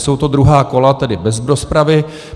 Jsou to druhá kola, tedy bez rozpravy.